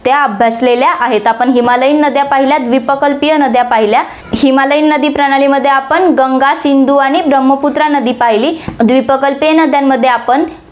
त्या अभ्यासलेल्या आहेत, आपण हिमालयीन नद्या पाहिल्या, द्विप्रकल्पीय नद्या पाहिल्या, हिमालयीन नदी प्रणालीमध्ये आपण गंगा, सिंधु आणि ब्रम्हपुत्रा नदी पाहिली, द्विप्रकल्पीय नद्यांमध्ये आपण